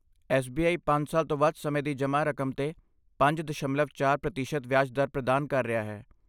SBI. ਪੰਜ ਸਾਲ ਤੋਂ ਵੱਧ ਸਮੇਂ ਦੀ ਜਮ੍ਹਾਂ ਰਕਮ 'ਤੇ ਪੰਜ ਦਸ਼ਮਲਵ ਚਾਰ ਪ੍ਰਤੀਸ਼ਤ ਵਿਆਜ ਦਰ ਪ੍ਰਦਾਨ ਕਰ ਰਿਹਾ ਹੈ